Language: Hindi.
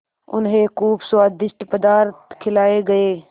उन्हें खूब स्वादिष्ट पदार्थ खिलाये गये